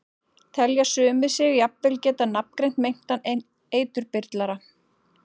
Telja sumir sig jafnvel geta nafngreint meintan eiturbyrlara.